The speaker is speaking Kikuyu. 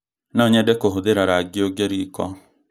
No nyende kũhũthĩra rangi ũngĩ riko